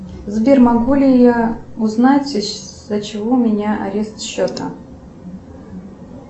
сбер могу ли я узнать из за чего у меня арест счета